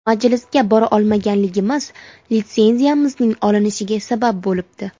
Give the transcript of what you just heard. Majlisga bora olmaganligimiz litsenziyamizning olinishiga sabab bo‘libdi.